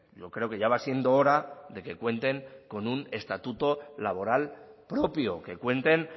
yo creo que ya va siendo hora de que cuenten con un estatuto laboral propio que cuenten